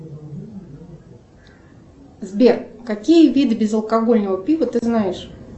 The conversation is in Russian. сбер какие виды безалкогольного пива ты знаешь